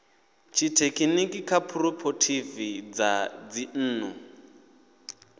tshithekhiniki kha dzikhophorethivi dza dzinnḓu